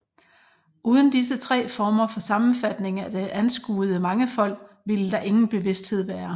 Uden disse tre former for sammenfatning af det anskuede mangefold ville der ingen bevidsthed være